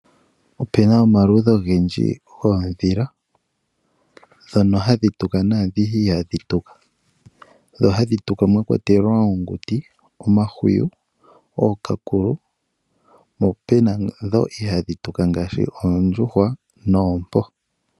Opu na omaludhi ogendji goondhila ndhono hadhi tuka naa ndhoka ihadhi tuka, ndhi hadhi tuka omakwatelwa oonguti, omahwiyu nookakulu, po opu na ndhoka ihadhi tuka ngaashi oondjuhwa noompo.